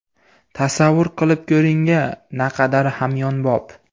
Tasavvur qilib ko‘ring-a, naqadar hamyonbop!